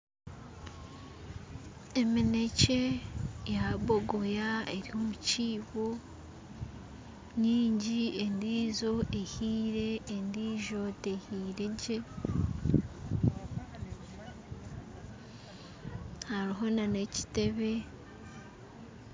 Eminekye ya bogoya eri omukiibo nyingi endijo ehiire endijo tehiiregye, hariho na ekitebe.